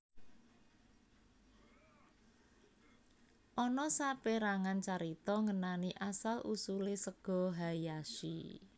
Ana saperangan carita ngenani asal usule sega hayashi